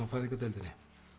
á fæðingardeildinni